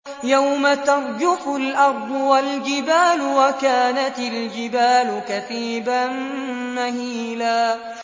يَوْمَ تَرْجُفُ الْأَرْضُ وَالْجِبَالُ وَكَانَتِ الْجِبَالُ كَثِيبًا مَّهِيلًا